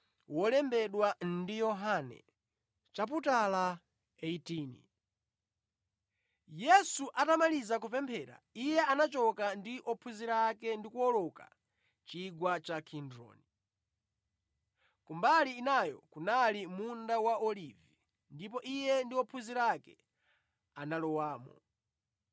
Yesu atamaliza kupemphera, Iye anachoka ndi ophunzira ake ndi kuwoloka chigwa cha Kidroni. Kumbali inayo kunali munda wa Olivi, ndipo Iye ndi ophunzira ake analowamo.